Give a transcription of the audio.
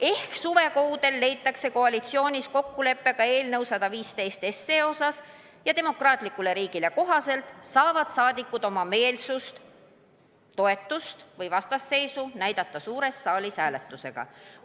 Ehk suvekuudel leitakse koalitsioonis kokkulepe ka eelnõu 115 suhtes ja demokraatlikule riigile kohaselt saavad rahvasaadikud oma meelsust, toetust või vastasseisu näidata suures saalis hääletusega.